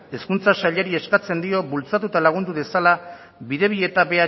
hezkuntza sailari eskatzen dio bultzatu eta lagundu dezala bidebieta